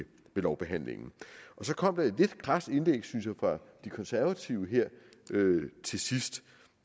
lovbehandlingen så kom der et lidt krast indlæg synes jeg fra de konservative her til sidst